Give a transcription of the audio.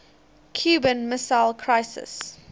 cuban missile crisis